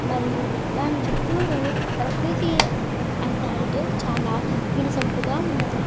మరియు దాని చుట్టూరు పకృతి అందాలతో చాల వినసొంపుగా ఉన్నది.